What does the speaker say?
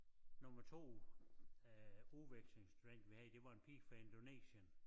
Nummer 2 øh udvekslingsstudent vi havde det var en pige fra Indonesien